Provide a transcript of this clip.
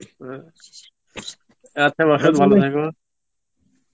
হ্যাঁ আচ্ছা, Hindi ভালো থাকো